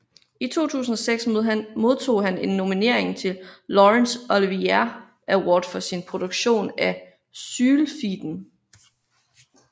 I 2006 modtog han en nominering til Laurence Olivier Award for sin produktion af Sylfiden